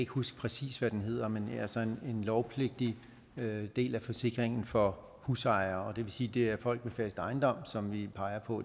huske præcis hvad den hedder men altså en lovpligtig del af forsikringen for husejere det vil sige at det er folk med fast ejendom som vi peger på